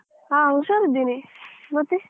ಹ ಹುಷಾರಿದ್ದೇನೆ ಮತ್ತೆ?